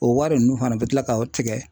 O wari nunnu fana be kila ka o tigɛ